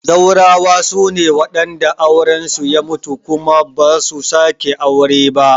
Zaurawa sune wadanda auren su ya mutu kuma ba su sake wani auren ba